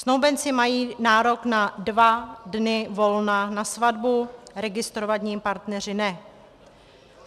Snoubenci mají nárok na dva dny volna na svatbu, registrovaní partneři ne.